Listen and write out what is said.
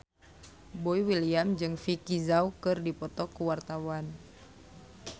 Boy William jeung Vicki Zao keur dipoto ku wartawan